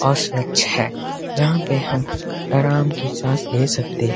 और स्वच्छ है जहां पे हम अराम की सांस ले सकते--